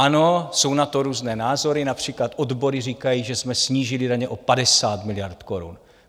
Ano, jsou na to různé názory, například odbory říkají, že jsme snížili daně o 50 miliard korun.